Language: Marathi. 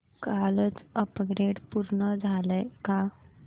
कालचं अपग्रेड पूर्ण झालंय का